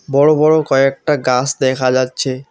বড় বড় কয়েকটা গাছ দেখা যাচ্ছে।